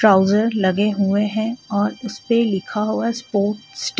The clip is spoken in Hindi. ट्राउजर लगे हुए हैं और उसपे लिखा हुआ है स्पोर्ट् स्टाइ--